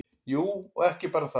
Jú, og ekki bara það.